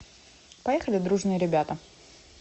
поехали дружные ребята